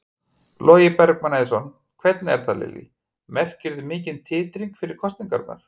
Logi Bergmann Eiðsson: Hvernig er það Lillý, merkirðu mikinn titring fyrir kosningarnar?